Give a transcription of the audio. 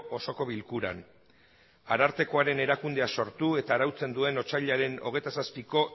osoko bilkuran arartekoaren erakundea sortu eta arautzen duen otsailaren hogeita zazpiko